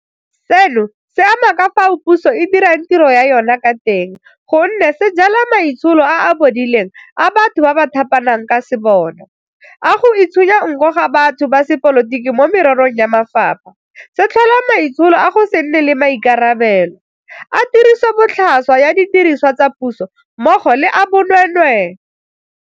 Seno se ama ka fao puso e dirang tiro ya yona ka teng gonne se jala maitsholo a a bodileng a batho ba ba thapanang ka sebona, a go itshunya nko ga batho ba sepolotiki mo mererong ya mafapha, se tlhola maitsholo a go se nne le maikarabelo, a tirisobotlhaswa ya didirisiwa tsa puso mmogo le a bonweenwee.